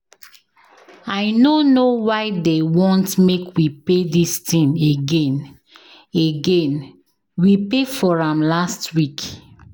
I no know why dey want make we pay dis thing again, again, we pay for am last week